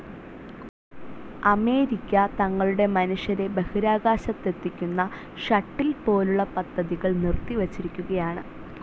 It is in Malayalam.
അമേരിക്ക തങ്ങളുടെ മനുഷ്യരെ ബഹിരാകാശത്തെത്തിക്കുന്ന ഷട്ടിൽ പോലുള്ള പദ്ധതികൾ നിർത്തിവച്ചിരിക്കുകയാണ്.